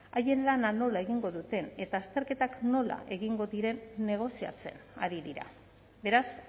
haien lana nola egingo duten eta azterketak nola egingo diren negoziatzen ari dira beraz